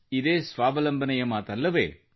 ಇದೇ ಸ್ವಾವಲಂಬನೆಯ ಮಾತಲ್ಲವೇ